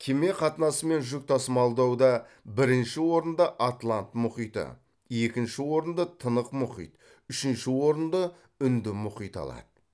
кеме қатынасы мен жүк тасымалдауда бірінші орында атлант мұхиты екінші орынды тынық мұхит үшінші орынды үнді мұхиты алады